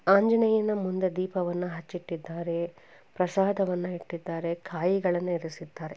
ಆಂಜನೇಯನ ಮುಂದೆ ದೀಪವನ್ನ ಹಚ್ಚಿಟ್ಟಿದ್ದಾರೆ. ಪ್ರಸಾದವನ್ನ ಇಟ್ಟಿದ್ದಾರೆ. ಕಾಯಿಗಳನ್ನು ಇರಿಸಿದ್ದಾರೆ.